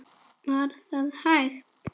Var það hægt?